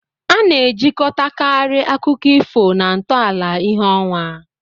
A na-ejikọtakarị akụkọ ifo na ntọala ìhè ọnwa.